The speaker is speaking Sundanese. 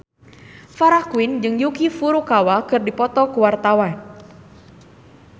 Farah Quinn jeung Yuki Furukawa keur dipoto ku wartawan